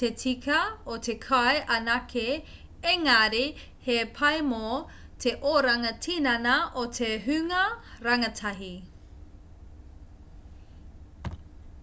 te tika o te kai anake engari he pai mō te oranga tinana o te hunga rangatahi